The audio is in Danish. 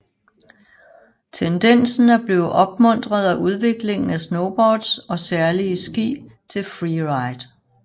Tendensen er blevet opmuntret af udviklingen af snowboards og særlige ski til freeride